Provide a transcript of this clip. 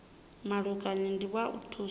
mulamukanyi ndi wa u thusa